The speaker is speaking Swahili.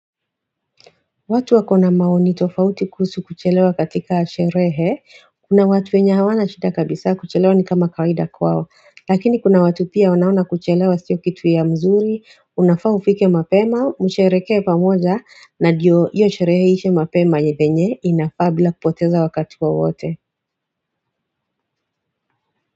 Watu wakona maoni tofauti kuhusu kuchelewa katika sherehe, kuna watu wenye hawana shida kabisa kuchelewa ni kama kawaida kwao, lakini kuna watu pia wanaona kuchelewa sio kitu ya mzuri, unafaa ufike mapema, mshereke pamoja na diyo iyo sherehe iishe mapema na venye inafaa bila kupoteza wakati wowote.